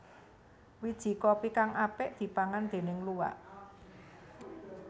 Wiji kopi kang apik dipangan déning luwak